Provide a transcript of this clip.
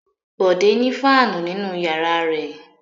Bọ̀dé ní fáánù nínú ìyàrá rẹ̀.